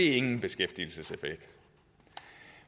ingen beskæftigelseseffekt